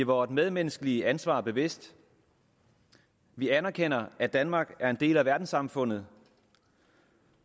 vort medmenneskelige ansvar bevidst vi anerkender at danmark er en del af verdenssamfundet